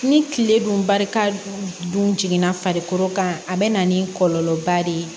Ni tile dun barika dun dun jiginna farikolo kan a be na ni kɔlɔlɔba de ye